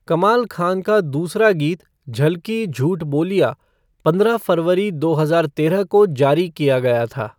कमाल खान का दूसरा गीत झलकी, झूठ बोलिया पंद्रह फरवरी दो हजार तेरह को जारी किया गया था।